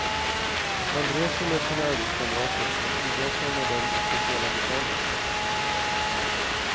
Man reser med sina arbetskamrater, man idrottar med dem i speciella lokaler.